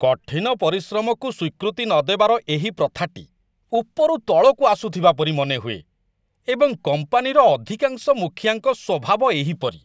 କଠିନ ପରିଶ୍ରମକୁ ସ୍ୱୀକୃତି ନ ଦେବାର ଏହି ପ୍ରଥାଟି ଉପରୁ ତଳକୁ ଆସୁଥିବା ପରି ମନେହୁଏ, ଏବଂ କମ୍ପାନୀର ଅଧିକାଂଶ ମୁଖିଆଙ୍କ ସ୍ୱଭାବ ଏହିପରି।